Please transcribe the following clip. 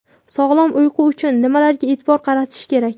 Sog‘lom uyqu uchun nimalarga e’tibor qaratish kerak?.